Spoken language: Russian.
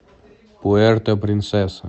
пуэрто принсеса